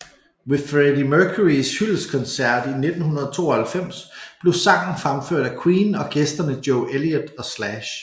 Ved Freddie Mercurys hyldestkoncert i 1992 blev sangen fremført af Queen og gæsterne Joe Elliot og Slash